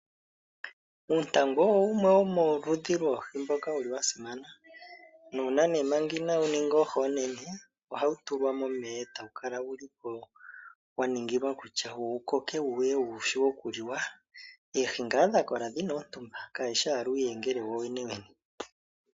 Uuntangu owo wumwe womoludhi lwoohi ndhoka dha simana. Nuuna nee manga inawu ninga oohi oonene ohawu tulwa momeya e tawu kala wu li po wa ningilwa kutya wu koke wu ye wu shiwe okuliwa oohi ngaa dha kola dhi na oontumba kadhi shi owala uuyengele wowenewene.